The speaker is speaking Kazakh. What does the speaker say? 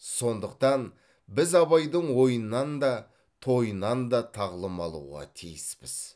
сондықтан біз абайдың ойынан да тойынан да тағылым алуға тиіспіз